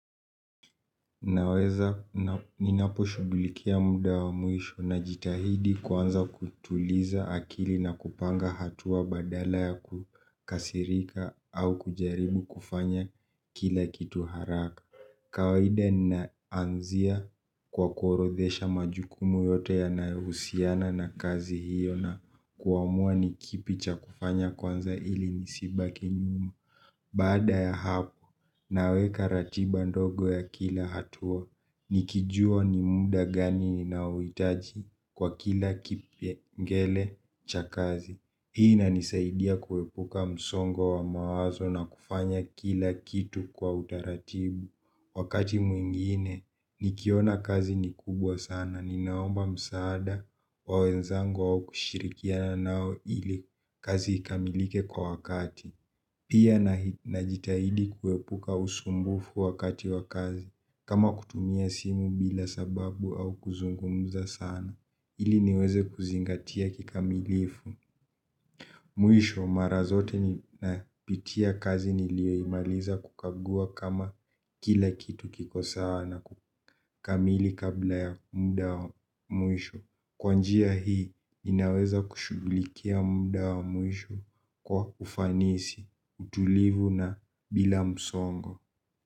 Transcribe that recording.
Naweza ninapo shughulikia muda wa muisho na jitahidi kwanza kutuliza akili na kupanga hatua badala ya kukasirika au kujaribu kufanya kila kitu haraka. Kawaida nna anzia kwa kuorodhesha majukumu yote yanayohusiana na kazi hiyo na kuamua nikipicha kufanya kwanza ili, nisibaki nyum. Baada ya hapo, naweka ratiba ndogo ya kila hatua. Nikijua ni muda gani ni naowitaji kwa kila kipyengele cha kazi. Hii inanisaidia kuwepuka msongo wa mawazo na kufanya kila kitu kwa utaratibu. Wakati mwingine, nikiona kazi ni kubwa sana, ninaomba msaada wa wenzangu au kushirikiana, nao ili, kazi ikamilike kwa wakati. Pia n jitahidi kuepuka usumbufu wakati wa kazi. Kama kutumia simu bila sababu au kuzungumuza sana. Ili niweze kuzingatia kikamilifu. Mwisho, marazote nina pitia kazi nilioimaliza kukagua kama, kila kitu kiko sawana kukamili kabla ya mda wa mwisho. Kwanjia hii, inaweza kushghulikia muda wa mwisho, kwa ufanisi, utulivu na bila msongo.